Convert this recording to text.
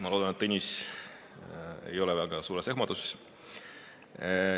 Ma loodan, et Tõnis ei ole väga ehmunud.